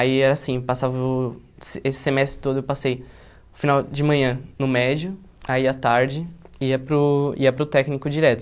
Aí era assim, passava uh esse semestre todo eu passei o final de manhã no médio, aí a tarde ia para o ia para o técnico direto.